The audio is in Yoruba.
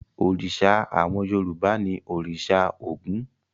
Òrìṣà àwọn Yorùbá ni òrìṣà Ògún.